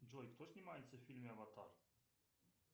джой кто снимается в фильме аватар